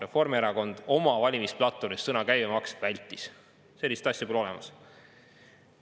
Reformierakond oma valimisplatvormis sõna "käibemaks" vältis, sellist asja pole seal olemas.